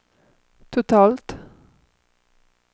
totalt